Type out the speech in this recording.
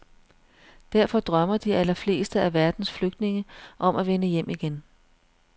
Derfor drømmer de allerfleste af verdens flygtninge om at vende hjem igen.